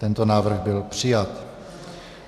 Tento návrh byl přijat.